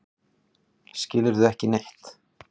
Skilurðu ekki neitt?